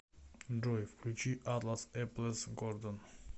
джой включи атлас эп лес гордон